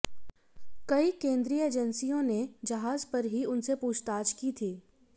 कई केंद्रीय एजेंसियों ने जहाज पर ही उनसे पूछताछ की थी